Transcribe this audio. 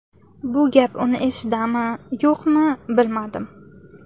Bu gap uni esidami, yo‘qmi, bilmadim.